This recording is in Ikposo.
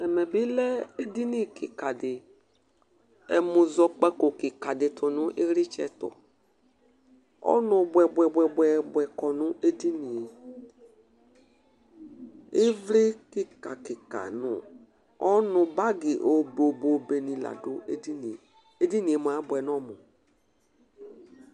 Ɛmɛ bi lɛ edinì kika di, ɛmunuko kika di tú nu iɣlitsɛ ɛtu, ɔnu buɛbuɛbuɛ kɔ nu edinìe, ivli kikakika nu ɔnu bagi obeobeobe ni la dù edinìe, Edinìe mua abuɛ n'ɔmu